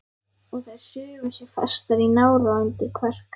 Og þær sugu sig fastar í nára og undir kverk.